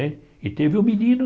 Né e teve o menino...